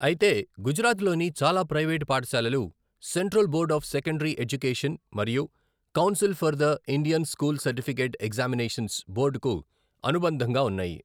అయితే, గుజరాత్లోని చాలా ప్రైవేట్ పాఠశాలలు central board of secondary education మరియు council for the Indian school certificate examinations బోర్డ్కు అనుబంధంగా ఉన్నాయి.